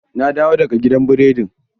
Na dawo daga gidan burodin